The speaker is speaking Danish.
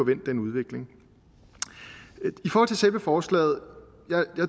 vendt den udvikling i forhold til selve forslaget